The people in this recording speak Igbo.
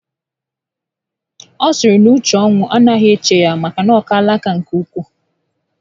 Ọ sịrị na uche ọnwụ anaghị eche ya maka na o kaala nkà nke ukwu